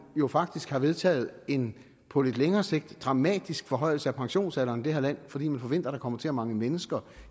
jo faktisk har vedtaget en på lidt længere sigt dramatisk forhøjelse af pensionsalderen i det her land fordi man forventer at der kommer til at mangle mennesker